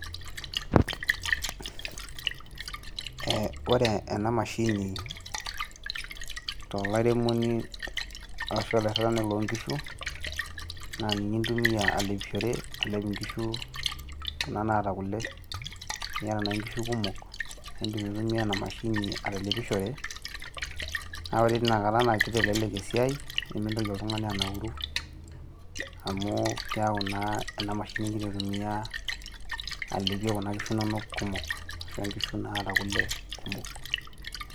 Eh ore enamashini tolairemoni arashu olairrirrani lonkishu, na ninye intumia alepishore alep inkishu, kuna naata kule. Eniata nai nkishu kumok, na idim aitumia enamashini atalepishore. Na ore teina kata na kitelelek esiai, nimitoki oltung'ani anauru, amu keeku naa enamashini gira aitumia alepie kuna kishu nonok kumok, ashu nkishu naata kule kumok.